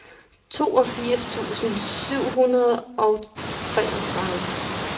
toogfirs tusind syv hundrede og treogtredive